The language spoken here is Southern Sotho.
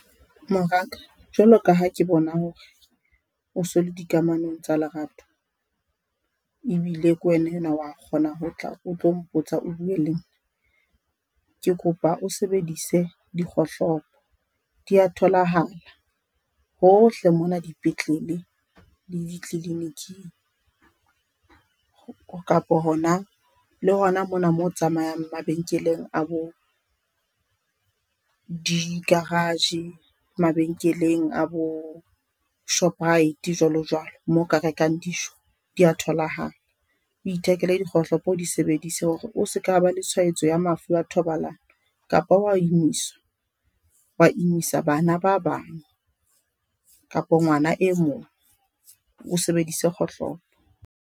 Moraka, jwalo ka ha ke bona hore o so le di kamanong tsa lerato ebile ke wena yenwa wa kgona ho tla o tlo mpotsa o buwe le nna, ke kopa o sebedise di kgohlopo di a tholahala hohle mona, dipetlele le ditliliniking. Kapa hona le hona mona mo o tsamayang mabenkeleng a bo di-garage, mabenkeleng a bo Shoprite jwalo jwalo moo o ka rekang dijo di a tholahala. O ithekele di kgohlopo, o di sebedise hore o se ka ba le tshwayetso ya mafu a thobalano kapa wa imisa, wa imisa bana ba bang kapa ngwana e mong o sebedise kgohlopo.